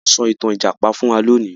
Wón so ìtàn ìjàpá fún wá lóni.